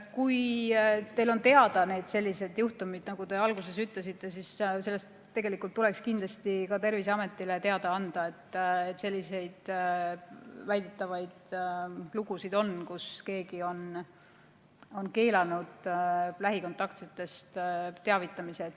Kui teil on teada selliseid juhtumeid, nagu te alguses ütlesite, siis tuleks kindlasti ka Terviseametile teada anda, et on selliseid väidetavaid lugusid, kus keegi on keelanud lähikontaktsetest teavitada.